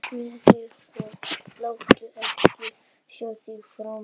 Burtu með þig og láttu ekki sjá þig framar!